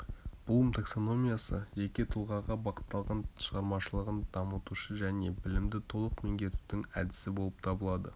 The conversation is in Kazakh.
блум таксономиясы жеке тұлғаға бағытталған шығармашылығын дамытушы және білімді толық меңгертудің әдісі болып табылады